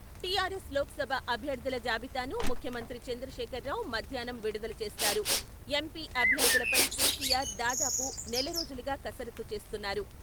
TRS Lok Sabha అభ్యర్థుల జాబితాను ముఖ్యమంత్రి చంద్రశేఖర్రావు మధ్యాహ్నం విడుదల చేస్తారు. ఎంపీ అభ్యర్థులపై కెసిఆర్ దాదాపు నెల రోజులుగా కసరత్తు చేస్తున్నారు.